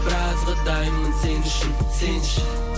біразға дайынмын сен үшін сенші